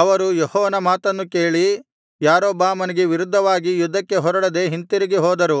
ಅವರು ಯೆಹೋವನ ಮಾತನ್ನು ಕೇಳಿ ಯಾರೊಬ್ಬಾಮನಿಗೆ ವಿರುದ್ಧವಾಗಿ ಯುದ್ಧಕ್ಕೆ ಹೊರಡದೆ ಹಿಂತಿರುಗಿ ಹೋದರು